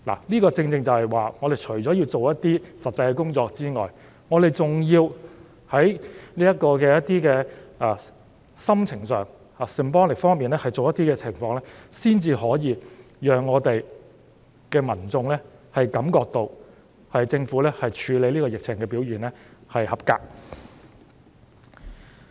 這正正是說明除了要做一些實際事情外，我們還要在心情上和 symbolic 方面有一些行動，才可以讓民眾感覺到政府處理疫情的表現合格。